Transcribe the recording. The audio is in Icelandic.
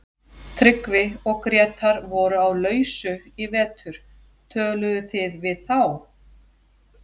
Tryggvi og Grétar voru á lausu í vetur, töluðuð þið við þá?